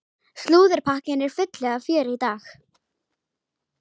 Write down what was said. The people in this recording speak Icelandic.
Slúðurpakkinn er fullur af fjöri í dag.